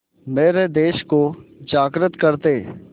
मेरे देश को जागृत कर दें